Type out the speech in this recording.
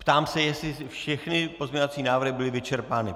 Ptám se, jestli všechny pozměňovací návrhy byly vyčerpány.